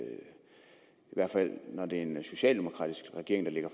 hvert fald når det er en socialdemokratisk regering der lægger